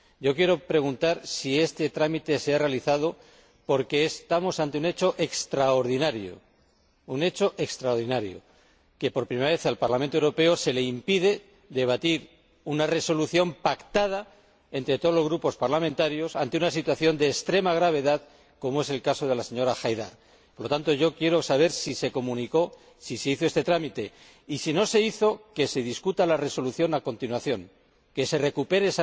Quiero preguntar si este trámite se ha realizado, porque estamos ante un hecho extraordinario por primera vez al Parlamento Europeo se le impide debatir una resolución pactada entre todos los grupos parlamentarios ante una situación de extrema gravedad como es el caso de la señora Haidar. Por lo tanto, yo quiero saber si se hizo este trámite y, si no se hizo, que se debata la resolución a continuación, que se recupere